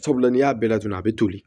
Sabula n'i y'a bɛɛ laturu a bɛ toli